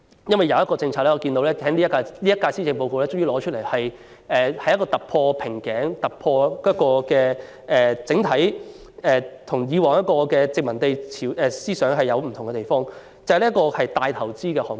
正如在今年的施政報告中，政府終於提出一項突破瓶頸的政策，一反它沿襲殖民地管理模式的作風，那就是"明日大嶼"這個大型投資項目。